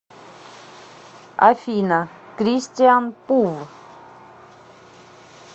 афина кристиан пув